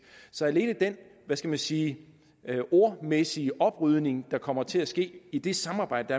så alene den hvad skal man sige ordmæssige oprydning der kommer til at ske i det samarbejde